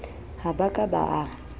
ha ba ka ba a